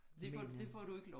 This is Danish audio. Men øh